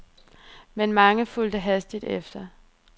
Men mange fulgte hastigt efter.